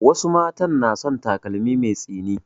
Wasu matan na son takalmi mai tsini